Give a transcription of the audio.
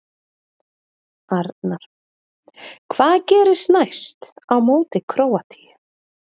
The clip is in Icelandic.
Arnar: Hvað gerist næst, á móti Króatíu?